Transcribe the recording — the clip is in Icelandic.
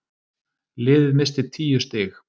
Liðið missti tíu stig.